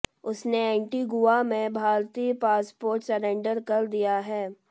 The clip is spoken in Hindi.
उसने एंटीगुआ में भारतीय पासपोर्ट सरेंडर कर दिया है